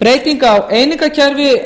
breyting á einingakerfi